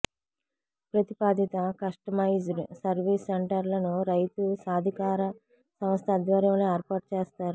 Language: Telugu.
ప్రతిపాదిత కస్టమైజ్డ్ సర్వీస్ సెంటర్లను రైతుసాధికార సంస్థ ఆధ్వర్యంలో ఏర్పాటు చేస్తారు